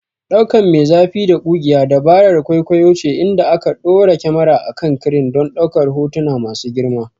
Ɗaukan me zafi da ƙugiya dabarar kwaikwayo ce inda aka ɗora kyamara a kan crane don ɗaukar hotuna masu girma.